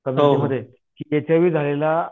मध्ये की H I V झालेला